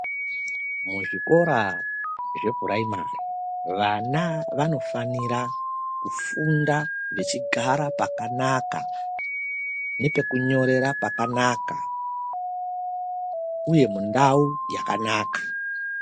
Muzvikora zvepuraimari vana vanofanira kufunda vechigara pakanaka, nepekunyorera pakanaka uye mundau yakanaka.